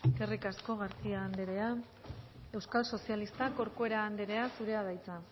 eskerrik asko garcía andrea euskal sozialistak corcuera andrea zurea da hitza